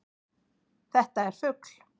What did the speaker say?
Þetta er fugl.